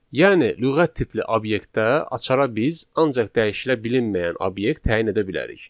Yəni lüğət tipli obyektdə açara biz ancaq dəyişilə bilinməyən obyekt təyin edə bilərik.